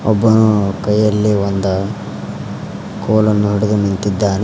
ಒಬ್ಬ ಕೈಯಲ್ಲೇ ಒಂದ ಕೋಲನ್ನು ಹಿಡೆದು ನಿಂತಿದ್ದಾನೆ.